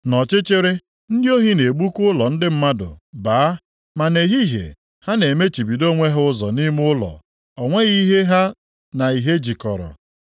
Nʼọchịchịrị, ndị ohi na-egbuka ụlọ ndị mmadụ baa, ma nʼehihie ha na-emechibido onwe ha ụzọ nʼime ụlọ; o nweghị ihe ha na ìhè jikọrọ.